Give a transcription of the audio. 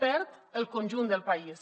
perd el conjunt del país